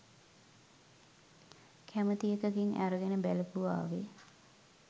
කැමති එකකින් අරගෙන බලපුවාවේ.